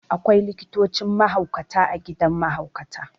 Akwai likitocin mahaukata a gidan mahaukata.